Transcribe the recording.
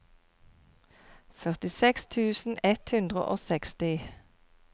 førtiseks tusen ett hundre og seksti